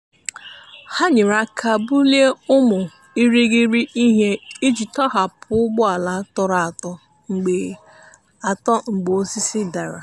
ha nyere aka bulie ụmụ irighiri ihe iji tọhapụ ụgbọala tọrọ atọ mgbe atọ mgbe osisi dara.